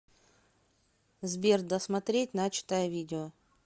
сбер досмотреть начатое видео